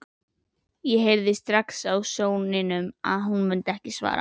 Ég heyrði strax á sóninum að hún myndi ekki svara.